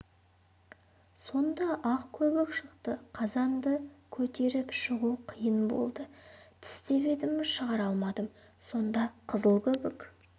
сонда ақ көбік шықты қазанды көтеріп шығу қиын болды тістеп едім шығара алмадым сонда қызыл көбік